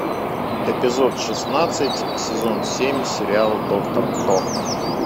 эпизод шестнадцать сезон семь сериал доктор кто